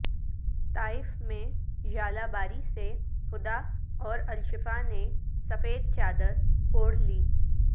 طائف میں ژالہ باری سے ہدا اور الشفا نے سفید چادر اوڑھ لی